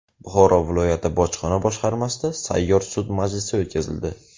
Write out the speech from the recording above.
Buxoro viloyati bojxona boshqarmasida sayyor sud majlisi o‘tkazildi.